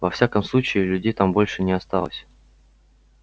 во всяком случае людей там больше не осталось